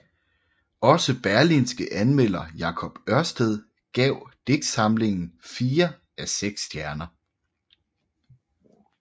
Også Berlingskes anmelder Jacob Ørsted gav digtsamlingen fire af seks stjerner